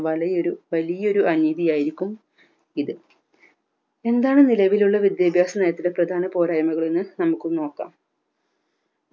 വലയൊരു വലിയൊരു അനീതി ആയിരിക്കും ഇത് എന്താണ് നിലവിലുള്ള വിദ്യാഭ്യാസനയത്തിലെ പ്രധാന പോരായ്‌മകൾ എന്ന് നമുക്ക് നോക്കാം